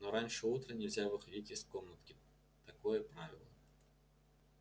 но раньше утра нельзя выходить из комнатки такое правило